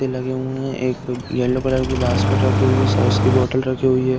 लगे हुए हैं। एक येलो कलर की बास्केट रखी हुई है। सॉस की बोतल रखी हुई है।